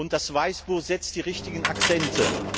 Das Weißbuch setzt die richtigen Akzente.